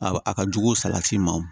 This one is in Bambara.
A a ka jugu salati ma o